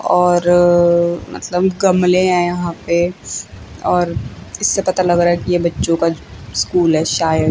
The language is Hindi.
और मतलब गमले है यहां पे और इससे पता लग रहा है कि यह एक बच्चों का स्कूल है शायद--